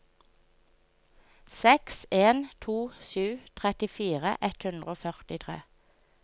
seks en to sju trettifire ett hundre og førtitre